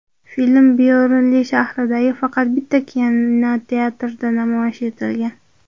Film Byornli shahridagi faqat bitta kinoteatrda namoyish etilgan.